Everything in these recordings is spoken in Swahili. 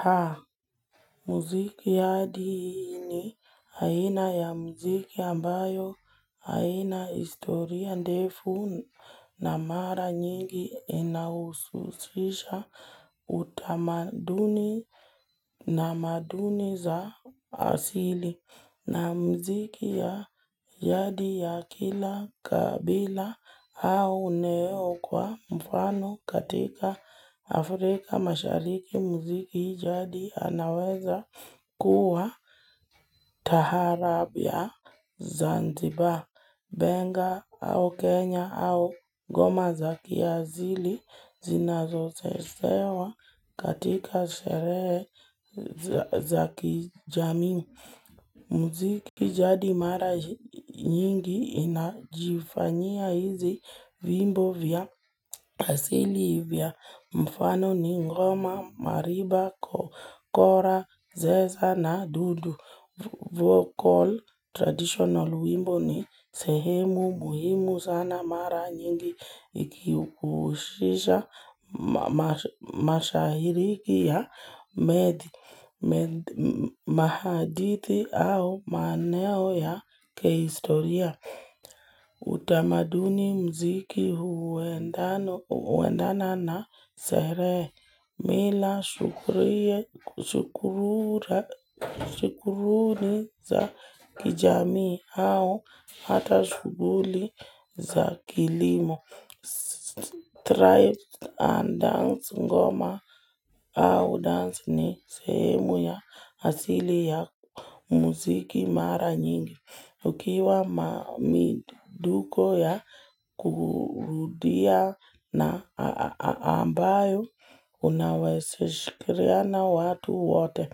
Haa, muziki yadini aina ya muziki ambayo haina historia ndefu na mara nyingi inaususisha utamaduni na maduni za asili. Na muziki ya jadi ya kila kabila au eneo kwa mfano katika Afrika mashariki muziki jadi anaweza kuwa taharabia zanzibar. Benga au Kenya au ngoma za kiasili zinazochezewa katika sherehe za kijamii muziki. Kijadi mara nyingi inajifanyia hizi vimbo vya asili vya mfano ni ngoma, mariba, kora, zeza na dudu. Vocal traditional wimbo ni sehemu muhimu sana mara nyingi ikihukushisha mashahiriki ya medhi mahadithi au maeneo ya kihistoria. Utamaduni mziki huendana na sherehe, mila shukuruni za kijamii au hata shuguli za kilimo. Stripe and dance ngoma au dance ni semu ya asili ya muziki mara nyingi. Ukiwa ma miduko ya kudia na ambayo, unaweza shikiria na watu wote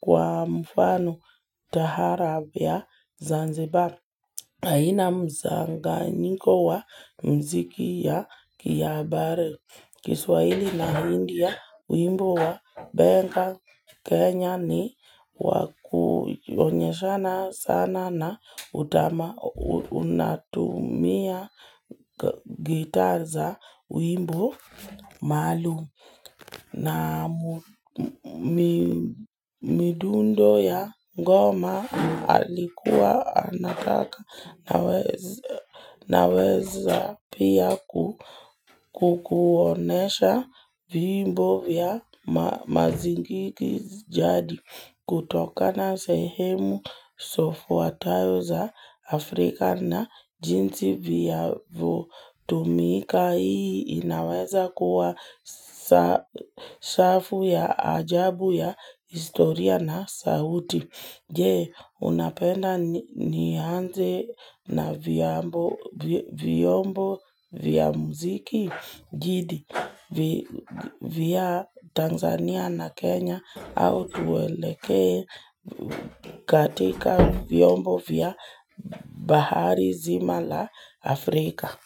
kwa mfano taharab ya Zanzibar. Haina mchanganyiko wa muziki ya kihabari Kiswaili na hindi ya wimbo wa Benga Kenya ni wakujonyeshana sana na utama unatumia gitar za wimbo maalum na midundo ya ngoma alikuwa anataka naweza pia kukuonyesha vimbo vya mazingiki jadi kutoka na sehemu zifuatayo za Afrika na jinsi vinavyotumika. Hii niaweza kuwa safu ya ajabu ya historia na sauti. Je, unapenda nianze na vyombo viyombo vya muziki gidi vya tanzania na kenya au tuelekee katika viyombo vya bahari zima la afrika.